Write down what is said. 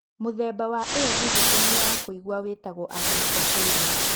Mũthemba wa ĩo ya thĩthĩtemu ya kũigua wĩtagwo acute porphyria.